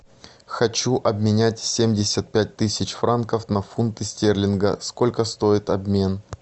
хочу обменять семьдесят пять тысяч франков на фунты стерлинга сколько стоит обмен